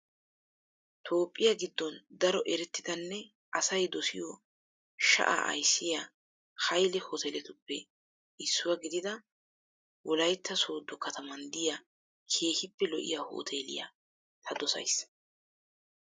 toophphiyaa giddon daro erettidanne asayi dosiyo sha'a ayssiyaa hayile hooteeletuppe issuwaa gidida woyilayitta sooddo kataman diya keehippe lo''iyaa hoteeliyaa ta dosayis.